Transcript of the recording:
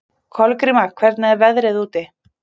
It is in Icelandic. Kolgríma, hvernig er veðrið úti?